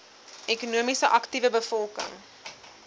ekonomies aktiewe bevolking